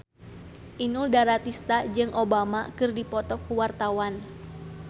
Inul Daratista jeung Obama keur dipoto ku wartawan